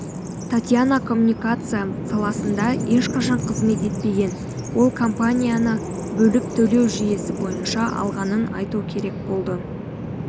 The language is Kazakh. татьяна коммуникация саласында ешқашан қызмет етпеген ол компанияны бөліп төлеу жүйесі бойынша алғанын айту керек болды